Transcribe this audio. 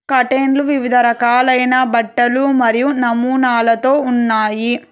కాటన్లు వివిధ రకాలైన బట్టలు మరియు నమూనాలతో ఉన్నాయి.